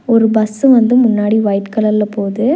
ஒரு பஸ்ஸு வந்து முன்னாடி ஒயிட் கலர்ல போது.